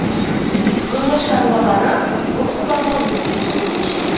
өңір шаруалары бұл жобаға өткен жылы көшкен